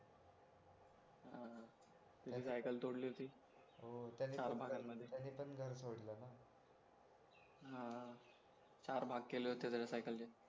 त्याच्या सायकल तोडली होती चार भागांमध्ये त्याने पण घर सोडलं ना हा चार भाग केले होते त्याच्या सायकलचे